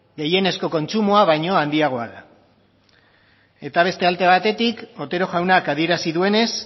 gehienezko kontsumoa baino handiagoa da eta beste ade batetik otero jaunak adierazi duenez